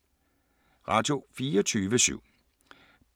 Radio24syv